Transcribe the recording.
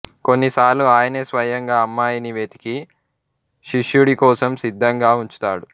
కొన్నిసార్లు ఆయనే స్వయంగా అమ్మాయిని వెతికి శిష్యుడికోసం సిద్ధంగా ఉంచుతాడు